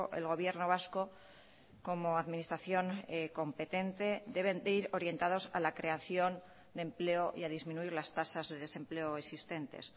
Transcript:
el gobierno vasco como administración competente deben de ir orientados a la creación de empleo y a disminuir las tasas de desempleo existentes